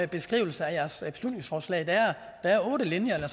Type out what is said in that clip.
beskrivelse af jeres beslutningsforslag der er otte linjer eller